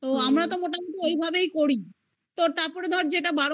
তো আমরা তো মোটামুটি ওই ভাবেই করি. তো তারপরে ধর যে এটা